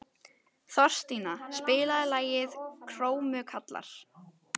Þorstína, spilaðu lagið „Krómkallar“.